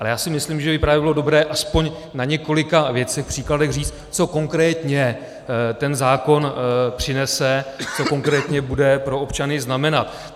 Ale já si myslím, že by právě bylo dobré aspoň na několika věcných příkladech říct, co konkrétně ten zákon přinese, co konkrétně bude pro občany znamenat.